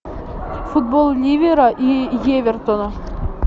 футбол ливера и эвертона